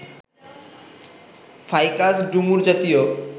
Ficus ডুমুর জাতীয়